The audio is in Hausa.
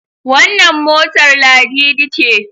Wannan motar Ladidi ce?